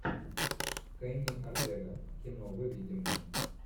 кенни ортега кино выведи мне